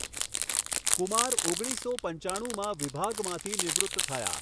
કુમાર ઓગણીસો પંચાણુમાં વિભાગમાંથી નિવૃત્ત થયા.